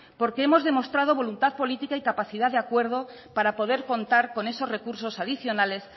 porque hemos demostrado voluntad política y capacidad de acuerdo para poder contar con esos recursos adicionales